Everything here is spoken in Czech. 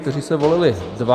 Ti se volili dva.